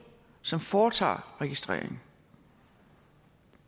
som foretager registreringen